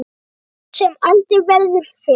Skarð sem aldrei verður fyllt.